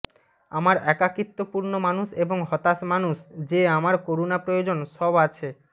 আমার একাকীত্বপূর্ণ মানুষ এবং হতাশ মানুষ যে আমার করুণা প্রয়োজন সব আছে